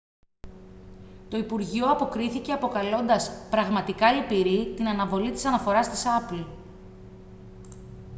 το υπουργείο αποκρίθηκε αποκαλώντας «πραγματικά λυπηρή» την αναβολή της αναφοράς της apple